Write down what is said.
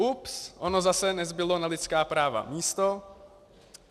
Ups, ono zase nezbylo na lidská práva místo.